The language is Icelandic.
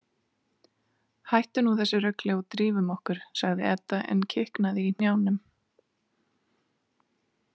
Hættu nú þessu rugli og drífum okkur, sagði Edda en kiknaði í hnjánum.